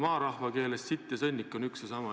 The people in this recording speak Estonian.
Maarahva keeles on sitt ja sõnnik üks ja sama.